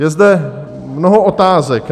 Je zde mnoho otázek.